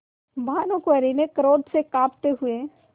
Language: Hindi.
भानुकुँवरि ने क्रोध से कॉँपते हुए